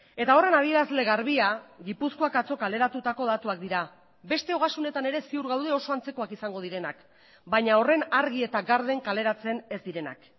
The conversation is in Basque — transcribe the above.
eta horren adierazle garbia gipuzkoak atzo kaleratutako datuak dira beste ogasunetan ere ziur gaude oso antzekoak izango direnak baina horren argi eta garden kaleratzen ez direnak